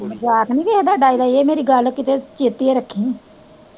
ਮਜ਼ਾਕ ਨੀ ਕਿਸੇ ਦਾ ਡਾਈ ਦਾ ਇਹ ਮੇਰੀ ਗੱਲ ਕਿਤੇ ਚੇਤੇ ਰੱਖੀ।